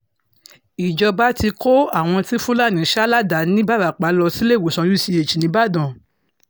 ìjọba ti kó àwọn tí fúlàní sá ládàá nìbarapá lọ síléèwòsàn uch nìbàdàn